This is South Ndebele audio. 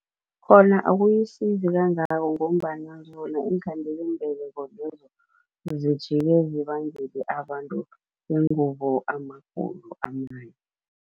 Khona akuyisizi kangako ngombana zona iinkhandelambeleko lezo zijike zibangele abantu bengubo amagulo amanye.